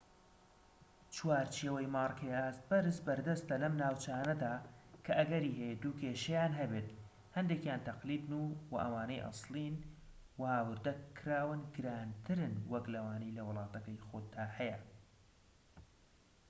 چوارچێوەی مارکەی ئاست بەرز بەردەستە لەم ناوچانەدا کە ئەگەری هەیە دوو كێشەیان هەبێت هەندێكیان تەقلیدن وە ئەوانەی ئەسڵین و هاوردە کراون گرانترن وەك لەوانەی لە وڵاتەکەی خۆتدا هەیە